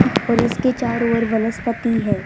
और इसके चारो ओर वनस्पति है।